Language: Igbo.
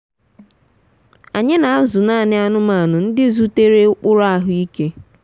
anyị na-azụ naanị anụmanụ ndị zutere ụkpụrụ ahụike.